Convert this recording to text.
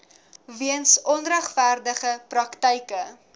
weens onregverdige praktyke